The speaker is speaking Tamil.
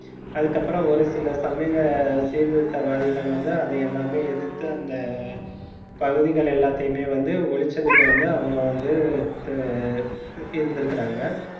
அதுக்கப்புறம் ஒரு சில சமய சீர்திருத்தவாதிகள் வந்து அதை எல்லாமே எதிர்த்து, அந்த பகுதிகள் எல்லாத்தையுமே வந்து ஒழிச்சதுக்கு வந்து அவங்க வந்து த~ இருந்திருக்காங்க